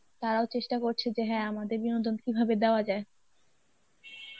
তারাও চেষ্টা করছে যে হ্যাঁ আমাদের বিনোদন কীভাবে দেওয়া যায়.